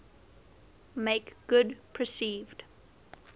make good perceived